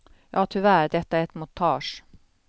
Ja tyvärr, detta är ett montage.